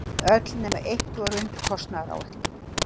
Öll nema eitt voru undir kostnaðaráætlun